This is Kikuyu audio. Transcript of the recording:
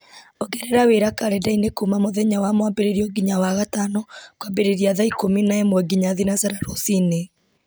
ongerera wĩra karenda-inĩ kuma mũthenya wa mwambĩrĩrio nginya wagatano kwambĩrĩria thaa ikũmi na ĩmwe nginya thinacara rũci-inĩ